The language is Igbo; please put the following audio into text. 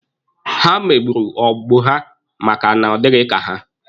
Ha megburu ọgbọ ha maka na ọ dịghị ka ha